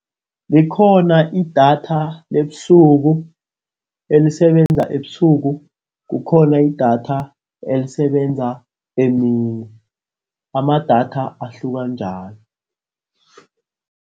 Likhona idatha lebusuku, elisebenza ebusuku. Kukhona idatha elisebenza emini. Amadatha ahluka njalo.